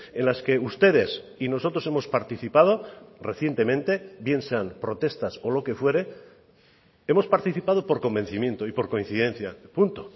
en las que ustedes y nosotros hemos participado recientemente bien sean protestas o lo que fuere hemos participado por convencimiento y por coincidencia punto